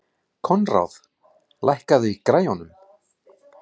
Koðrán, lækkaðu í græjunum.